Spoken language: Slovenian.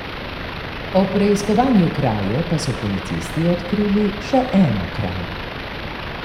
Ob preiskovanju kraje pa so policisti odkrili še eno krajo.